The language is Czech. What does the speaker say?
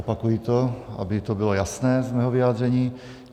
Opakuji to, aby to bylo jasné z mého vyjádření.